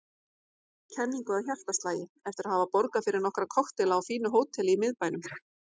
kenningu að hjartaslagi eftir að hafa borgað fyrir nokkra kokteila á fínu hóteli í miðbænum.